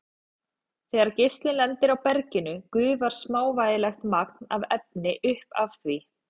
Þegar geislinn lendir á berginu gufar smávægilegt magn af efni upp af því.